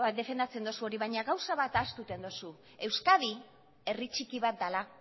defendatzen duzu baina gauza bat ahaztu egiten duzu euskadi herri txiki bat dela